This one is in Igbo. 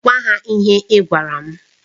Gwa ha ihe ị gwara m!